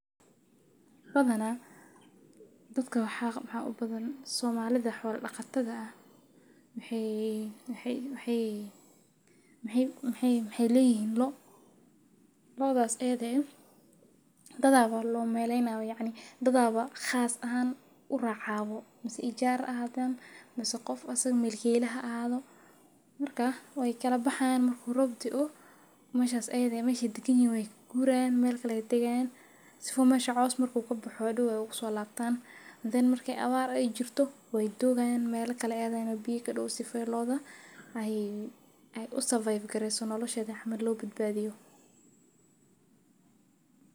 Waxa u badan Soomaalida waa xoolo-dhaqato ah. Waxay leeyihiin dad loo malleeyo ama ijaar ah, ama milkiilaha oo la socda. Way kala baxaan marka roob da’o, waxayna u guuraan meel kale si ay u degaan, si meesha caws uga baxo, kadibna ugu soo laabtaan. Markay abaar jirto, way joogaan meel biyo ku dhow yihiin si loo badbaadiyo nolosha lo’da.